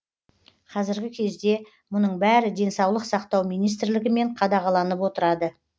қазіргі кезде мұның бәрі денсаулық сақтау министрлігімен қадағаланып отырады